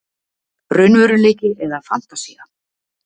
Raunveruleiki- eða fantasía?